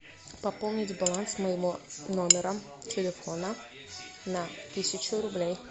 пополнить баланс моего номера телефона на тысячу рублей